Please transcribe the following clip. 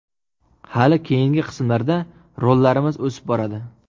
Hali keyingi qismlarda rollarimiz o‘sib boradi.